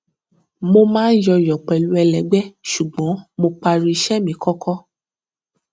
mo máa ń yọyọ pẹlú ẹlẹgbẹ ṣùgbọn mo parí iṣẹ mi kọkọ